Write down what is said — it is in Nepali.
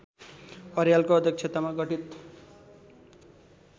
अर्यालको अध्यक्षतामा गठित